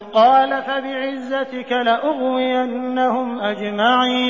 قَالَ فَبِعِزَّتِكَ لَأُغْوِيَنَّهُمْ أَجْمَعِينَ